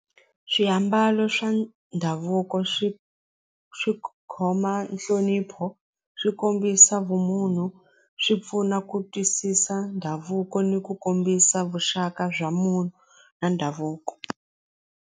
Swiambalo swa ndhavuko swi swi khoma nhlonipho swi kombisa vumunhu swi pfuna ku twisisa ndhavuko ni ku kombisa vuxaka bya munhu na ndhavuko.